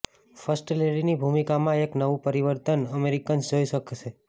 first લેડીની ભૂમિકામાં એક નવું પરિવર્તન અમેરિકન્સ જોઇ શકશે